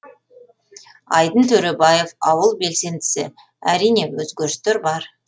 айдын төребаев ауыл белсендісі әрине өзгерістер бар